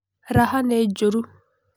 Raha nĩ njũru.